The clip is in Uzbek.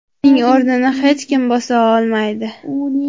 Uning o‘rnini hech kim bosa olmaydi.